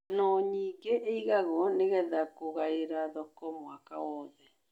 Ngano nyingĩ ĩgagwo nĩgetha kũgaĩra thoko mwaka wothe.